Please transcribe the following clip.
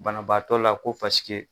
Banabaatɔ la ko paseke